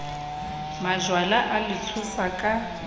majwala a le tshosa ka